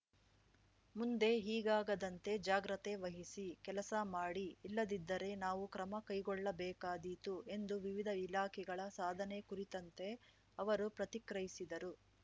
ಮುಂದೆ ಹೀಗಾಗದಂತೆ ಜಾಗ್ರತೆ ವಹಿಸಿ ಕೆಲಸ ಮಾಡಿ ಇಲ್ಲದಿದ್ದರೆ ನಾವು ಕ್ರಮ ಕೈಗೊಳ್ಳಬೇಕಾದೀತು ಎಂದು ವಿವಿಧ ಇಲಾಖೆಗಳ ಸಾಧನೆ ಕುರಿತಂತೆ ಅವರು ಪ್ರತಿಕ್ರಯಿಸಿದರು